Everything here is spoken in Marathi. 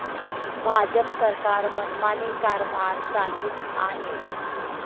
भाजप सरकार मनमानी कारभार चालवित आहे.